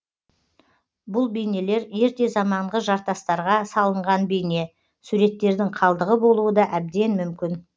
бұл бейнелер ерте заманғы жартастарға салынған бейне суреттердің қалдығы болуы да әбден мүмкін